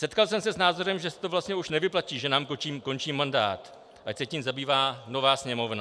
Setkal jsem se s názorem, že se to vlastně už nevyplatí, že nám končí mandát, ať se tím zabývá nová Sněmovna.